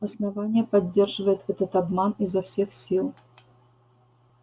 основание поддерживает этот обман изо всех сил